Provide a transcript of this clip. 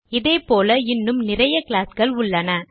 இது போல இன்னும் நிறைய கிளாஸ்கள் உள்ளன